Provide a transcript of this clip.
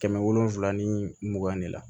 Kɛmɛ wolonwula ni mugan de la